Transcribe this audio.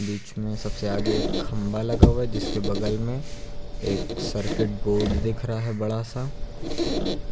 बीच में सबसे आगे एक खंभा लगा हुआ है जिसके बगल में एक सर्किट बोर्ड दिख रहा है बड़ा सा